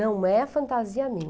Não é fantasia minha.